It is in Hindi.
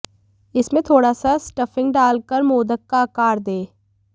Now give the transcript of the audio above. इसमें थोडा़ सा स्टफिंग डालकर मोदक का आकार दें